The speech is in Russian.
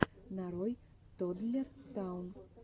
нарой тоддлер таун